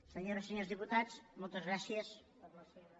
senyores i senyors diputats moltes gràcies per la seva